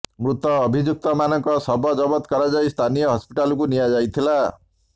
ମୃତ ଅଭିଯୁକ୍ତମାନଙ୍କ ଶବ ଜବତ କରାଯାଇ ସ୍ଥାନୀୟ ହସ୍ପିଟାଲକୁ ନିଆଯାଇଥିଲା